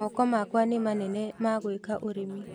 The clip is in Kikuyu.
Moko makwa nĩ manene ma gwĩka ũrĩmi.